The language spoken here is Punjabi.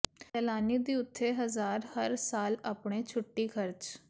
ਸੈਲਾਨੀ ਦੀ ਉੱਥੇ ਹਜ਼ਾਰ ਹਰ ਸਾਲ ਆਪਣੇ ਛੁੱਟੀ ਖਰਚ